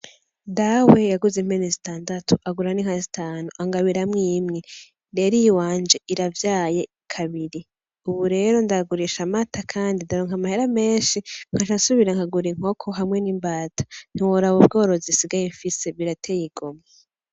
Dawe yaguze impene zitandatu agura n'inka zitanu angabiramwo imwe; rero iyiwanje iravyaye kabiri; uburero ndagurisha amata kandi ndaronka amahera menshi nkaca nsubira nkagura inkoko hamwe n'imbata ntiworaba ubworozi nsigaye mfise birateye igomwe.